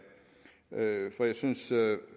for jeg synes